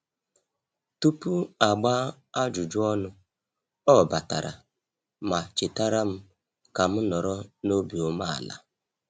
Tupu a gbaa ajụjụ ọnụ, ọ batara ma chetara m ka m nọrọ n'obi ume ala